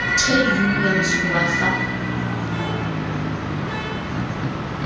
trade unions ho ba fa